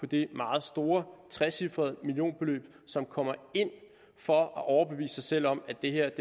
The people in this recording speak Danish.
det meget store trecifrede millionbeløb som kommer ind for at overbevise sig selv om at det her